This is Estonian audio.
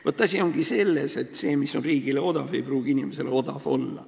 Vaat asi ongi selles, et see, mis on riigile odav, ei pruugi inimesele odav olla.